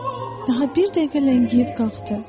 Daha bir dəqiqə ləngiyib qalxdı.